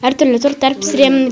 әртүрлі торттар пісіремін